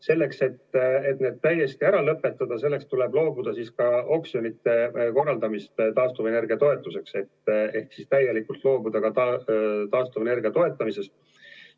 Selleks, et need täiesti ära lõpetada, tuleb loobuda ka oksjonite korraldamisest taastuvenergia toetuseks ehk siis tuleb täielikult loobuda ka taastuvenergia toetamisest.